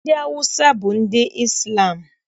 Ndị Awụsa bụ ndị Izlam